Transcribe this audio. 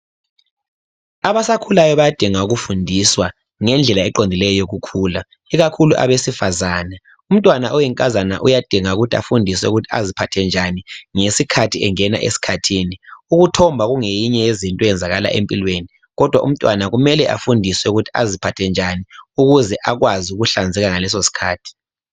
Abasakhulayo bayadinga ukufundiswa ngendlela eqondileyo yokukhula. Ikakhulu abesifazane. Umntwana oyinkazana uyadinga ukuthi afundiswe, ukuthi aziphathe njani, ngesikhathi engena esikhathini. Ukuthomba kungenye yezinto ezenzakalayo empilweni, kodwa umntwana uyadinga ukufundiswa ukuthi aziphathe njani . Ukuze akwazi ukuhlanzeka ngalesosikhathi.